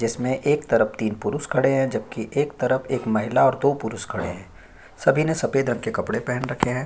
जिसमें एक तरफ तीन पुरुष खड़े है जबकि एक तरफ एक महिला और दो पुरुष खड़े है सभी ने सफेद रंग के कपड़े पहन रखे हैं।